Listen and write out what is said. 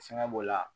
Fɛngɛ b'o la